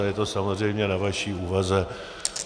A je to samozřejmě na vaší úvaze.